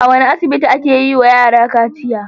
A wane asibiti ake yiwa yara kaciya?